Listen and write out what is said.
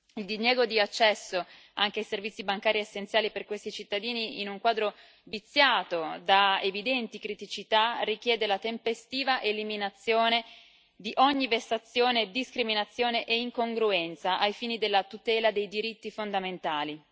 Il diniego di accesso anche ai servizi bancari essenziali per questi cittadini, in un quadro viziato da evidenti criticità, richiede la tempestiva eliminazione di ogni vessazione, discriminazione e incongruenza ai fini della tutela dei diritti fondamentali.